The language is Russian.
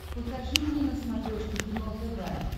покажи мне на смотрешке кино тв